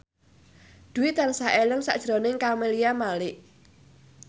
Dwi tansah eling sakjroning Camelia Malik